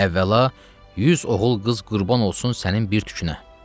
Əvvəla, yüz oğul qız qurban olsun sənin bir tükünə.